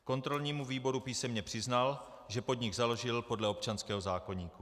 Kontrolnímu výboru písemně přiznal, že podnik založil podle občanského zákoníku.